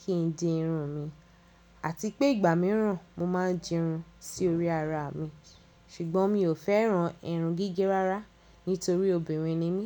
kí n dì irun mi àti pé ìgbà mìíràn mo máa ń dì irun sí orí ara mi. Ṣùgbọ́n mi ò fẹ́ran irun gígé rárá nítorí obìnrin ni mí.